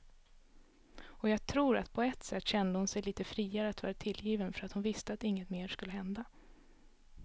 Och jag tror att på ett sätt kände hon sig lite friare att vara tillgiven för att hon visste att inget mer skulle hända.